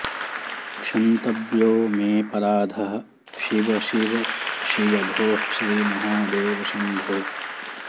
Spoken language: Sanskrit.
क्षन्तव्यो मेऽपराधः शिव शिव शिव भोः श्रीमहादेव शम्भो